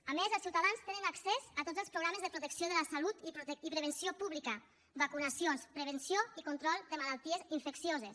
a més els ciutadans tenen accés a tots els programes de protecció de la salut i prevenció pública vacunacions prevenció i control de malalties infeccioses